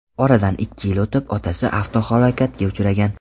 Oradan ikki yil o‘tib, otasi avtohalokatga uchragan.